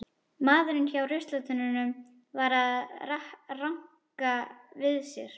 Maðurinn hjá ruslatunnunum var að ranka við sér.